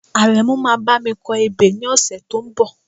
Àrẹ̀mú máa bá mi kọ ebè ní ọ̀sẹ̀ tó ń bọ̀